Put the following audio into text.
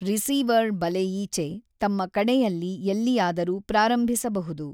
Receiver ಬಲೆಯೀಚೆ ತಮ್ಮ ಕಡೆಯಲ್ಲಿ ಎಲ್ಲಿಯಾದರೂ ಪ್ರಾರಂಭಿಸಬಹುದು.